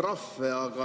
trahve ja makse.